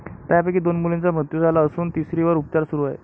त्यापैकी दोन मुलींचा मृत्यू झाला असून तिसरीवर उपचार सुरू आहे.